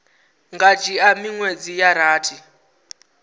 nga dzhia miṅwedzi ya rathi